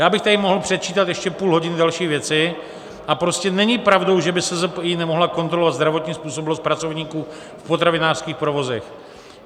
Já bych tady mohl předčítat ještě půl hodiny další věci, a prostě není pravdou, že by SZPI nemohla kontrolovat zdravotní způsobilost pracovníků v potravinářských provozech.